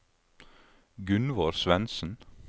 Gunvor Svendsen